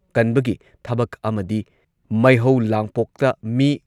ꯀꯟꯕꯒꯤ ꯊꯕꯛ ꯑꯃꯗꯤ ꯃꯩꯍꯧ ꯂꯥꯡꯄꯣꯛꯇ ꯃꯤ